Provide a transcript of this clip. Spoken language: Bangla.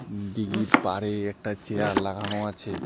দিঘির পাড়ে একটা চেয়ার লাগানো আছে।